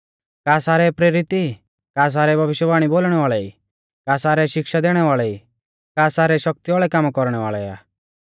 का सारै प्रेरित ई का सारै भविष्यवाणी बोलणै वाल़ै ई का सारै शिक्षा दैणै वाल़ै ई का सारै शक्ति वाल़ै कामा कौरणै वाल़ै आ